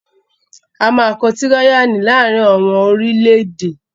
A máa kọ tíráyánì láàrín àwọn orílẹ̀-èdè